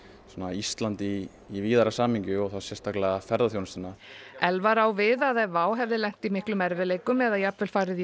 Ísland í í víðara samhengi og þá sérstaklega ferðaþjónustuna Elvar á við að ef WOW hefði lent í miklum erfiðleikum eða jafnvel farið í